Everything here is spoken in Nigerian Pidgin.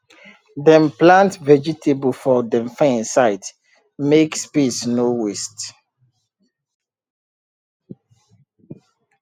dem plant vegetable for dem fence side make space no waste